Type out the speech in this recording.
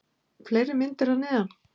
Fleiri myndir að neðan: